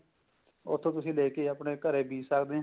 ਉੱਥੋਂ ਤੁਸੀਂ ਲੇਕੇ ਆਪਣੇ ਘਰੇ ਬੀਜ ਸਕਦੇ ਹਾਂ